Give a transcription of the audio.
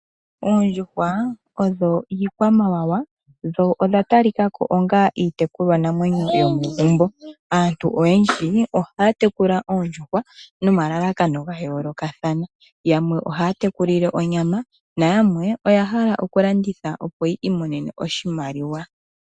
Oondjuhwa odho iikwamawawa dho odha talikako onga iitekulwa namwenyo yomegumbo. Aantu oyendji ohaya tekula oondjuhwa nomalalakano ga yoolokathana yamwe ohaya tekulile onyama nayamwe oya hala okulanditha opo yi imonene oshimaliwa.